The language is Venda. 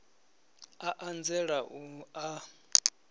a a nzela u a